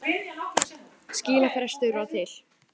Skilafrestur var til